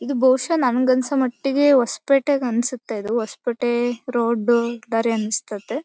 ಇದು ಬಹುಶಃ ನನಿಗೆ ಅನ್ಸೋ ಮಟ್ಟಿಗೆ ಹೊಸಪೇಟೆ ಅನ್ಸತ್ತೆ ಇದು ಹೊಸಪೇಟೆ ರೋಡ್ ದಾರಿ ಅನ್ಸತೈತೆ .